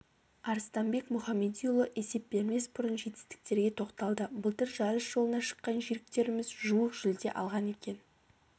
арыстанбек мұхамедиұлы есеп бермес бұрын жетістіктерге тоқталды былтыр жарыс жолына шыққан жүйріктеріміз жуық жүлде алған екен